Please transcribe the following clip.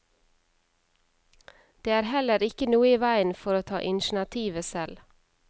Det er heller ikke noe i veien for å ta initiativet selv.